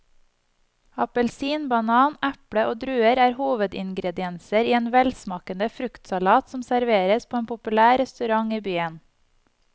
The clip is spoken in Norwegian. Appelsin, banan, eple og druer er hovedingredienser i en velsmakende fruktsalat som serveres på en populær restaurant i byen.